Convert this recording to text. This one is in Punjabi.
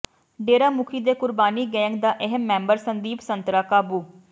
ਡੇਰਾ ਮੁਖੀ ਦੇ ਕੁਰਬਾਨੀ ਗੈਂਗ ਦਾ ਅਹਿਮ ਮੈਂਬਰ ਸੰਦੀਪ ਸੰਤਰਾ ਕਾਬੂ